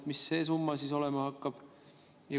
Mis see summa siis olema hakkab?